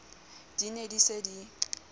di ne di se di